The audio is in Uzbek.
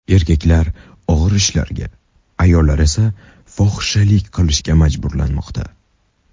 Erkaklar og‘ir ishlarga, ayollar esa fohishalik qilishga majburlanmoqda.